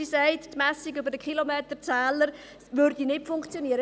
Sie sagt, die Messung über die Kilometerzähler funktionierte nicht.